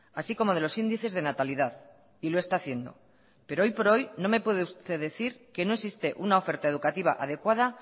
así como de los índices de natalidad y lo está haciendo pero hoy por hoy no me puede usted decir que no existe una oferta educativa adecuada